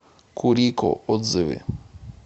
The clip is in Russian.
курико отзывы